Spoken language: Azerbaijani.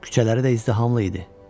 Küçələri də izdihamlı idi.